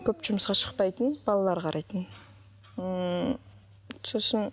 көп жұмысқа шықпайтын балалар қарайтын ммм сосын